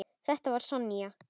Þetta var Sonja.